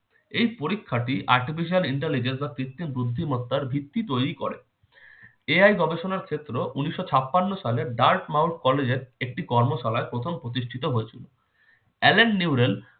এই পরীক্ষাটি artificial intelligence বা কৃত্রিম বুদ্ধিমত্তার ভিত্তি তৈরি করে। AI গবেষণার ক্ষেত্র উনিশশো ছাপ্পান্নো সালে dartmouth college এর একটি কর্মশালায় প্রথম প্রতিষ্ঠিত হয়েছিল। এলেন নিউরেল